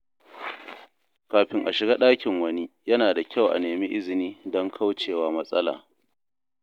Kafin a shiga ɗakin wani, yana da kyau a nemi izini don kauce wa matsala.